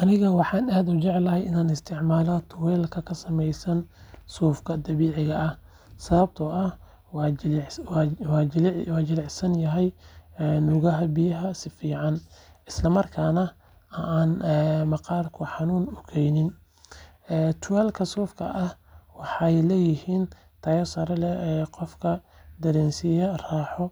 Aniga waxaan aad u jeclahay in aan isticmaalo tuwaalka ka samaysan suufka dabiiciga ah sababtoo ah waa jilicsan, nuugaya biyaha si fiican, isla markaana aanu maqaarka xanuun u geysan. Tuwaallada suufka ah waxay leeyihiin tayo sare oo qofka dareensiisa raaxo